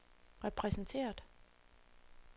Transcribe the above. repræsenteret